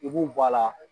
I b'u bɔ a la